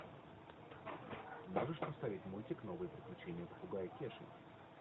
можешь поставить мультик новые приключения попугая кеши